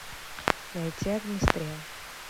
найти огнестрел